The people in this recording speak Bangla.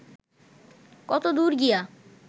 কতদূর গিয়া